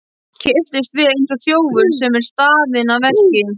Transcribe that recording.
Kippist við eins og þjófur sem er staðinn að verki.